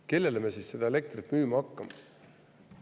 Kellele me siis seda elektrit müüma hakkame?